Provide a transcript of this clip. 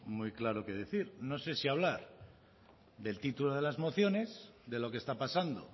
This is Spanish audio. muy claro qué decir no sé si hablar del título de las mociones de lo que está pasando